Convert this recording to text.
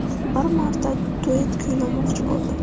Bir marta duet kuylamoqchi bo‘ldim.